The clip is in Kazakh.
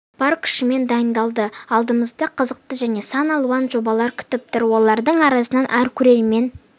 бар күшімен дайындалды алдымызда қызықты және сан алуан жобалар күтіп тұр олардың арасынан әр көрермен